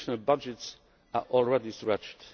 National budgets are already stretched.